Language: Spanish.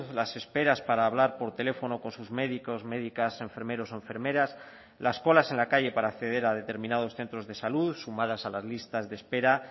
las esperas para hablar por teléfono con sus médicos médicas enfermeros enfermeras las colas en la calle para acceder a determinados centros de salud sumadas a las listas de espera